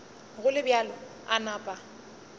go le bjalo a napa